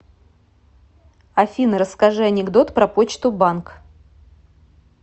афина расскажи анекдот про почту банк